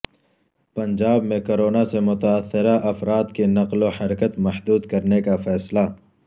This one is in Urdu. پنجاب میں کرونا سے متاثرہ افراد کی نقل و حرکت محدود کرنے کا فیصلہ